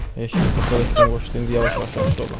Heç nə, doktor da sistem qoşdu, indi yavaş-yavaş yaxşı olub.